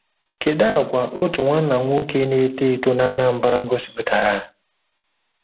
Kedu àgwà otu nwanna nwoke na-eto eto na Anambra gosipụtara?